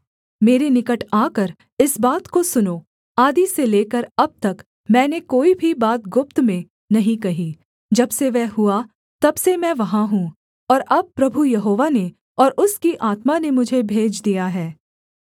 मेरे निकट आकर इस बात को सुनो आदि से लेकर अब तक मैंने कोई भी बात गुप्त में नहीं कही जब से वह हुआ तब से मैं वहाँ हूँ और अब प्रभु यहोवा ने और उसकी आत्मा ने मुझे भेज दिया है